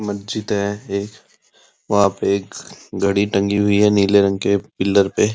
मस्जिद है एक वहां पे एक घड़ी टंगी हुई है नीले रंग के पिलर पे --